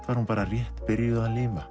var hún bara rétt byrjuð að lifa